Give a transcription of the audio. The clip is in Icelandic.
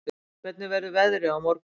Vinjar, hvernig verður veðrið á morgun?